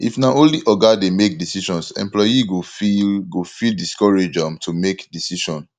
if na only oga dey make decisions employee go feel go feel discouraged um to make decision